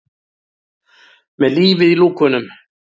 Með lífið í lúkunum!